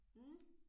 Mh